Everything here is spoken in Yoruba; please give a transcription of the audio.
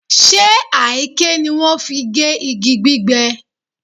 Ṣe àáké ni wọ́n fi gé igi gbígbẹ?